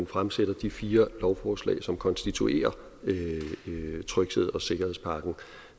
fremsætter de fire lovforslag som konstituerer trygheds og sikkerhedspakken